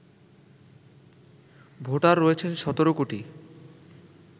voter রয়েছেন ১৭ কোটি